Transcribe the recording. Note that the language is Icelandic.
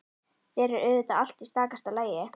Þá er auðvitað allt í stakasta lagi!